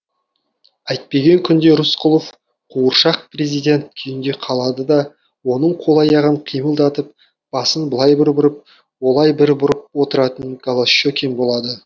әйтпеген күнде рысқұлов қуыршақ президент күйінде қалады да оның қол аяғын қимылдатып басын былай бір бұрып олай бір бұрып отыратын голощекин болады